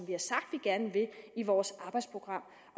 vi gerne vil i vores arbejdsprogram